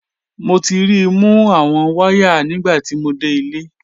Mo ti ri i mu awọn waya nigbati mo de ile.